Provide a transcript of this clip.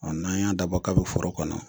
Ɔ n'an y'an dabɔ kabi foro kɔnɔ.